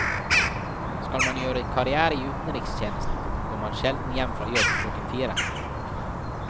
Skal man gjøre karrière i utenrikstjenesten, går man sjelden hjem fra jobb klokken fire.